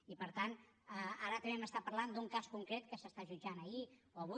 i per tant ara també m’està parlant d’un cas concret que s’està jutjant ahir o avui